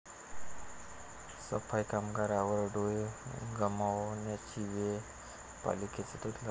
सफाई कामगारावर डोळे गमावण्याची वेळ, पालिकेचं दुर्लक्ष